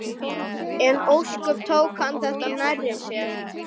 Hún vann á Hótel Reykjavík, sagði Guðjón við kunningja sína.